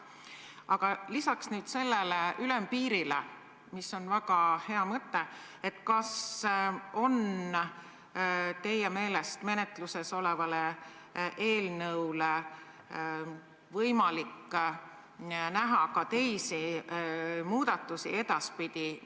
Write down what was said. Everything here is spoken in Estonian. Aga kas lisaks sellele ülempiiri tõstmisele, mis on väga hea mõte, on teie meelest võimalik seadust edaspidi muuta peale arutatava eelnõu ka muul moel?